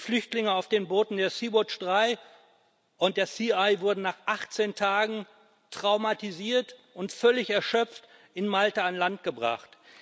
Die Flüchtlinge auf den Booten der Sea Watch 3 und der Sea Eye wurden nach 18 Tagen traumatisiert und völlig erschöpft in Malta an Land gebracht.